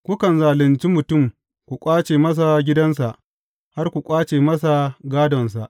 Kukan zalunci mutum, ku ƙwace masa gidansa, har ku ƙwace masa gādonsa.